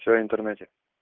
что интернете